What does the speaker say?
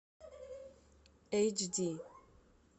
эйч ди